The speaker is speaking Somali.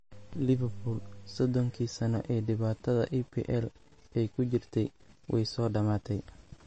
Liverpool 30-kii sano ee dhibaatada EPL ay ku jirtay way soo dhamaatay